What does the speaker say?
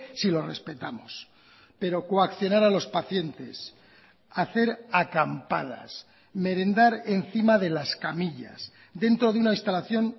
si lo respetamos pero coaccionar a los pacientes hacer acampadas merendar encima de las camillas dentro de una instalación